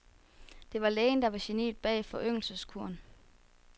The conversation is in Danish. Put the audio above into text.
Det var lægen, der var geniet bag foryngelseskuren.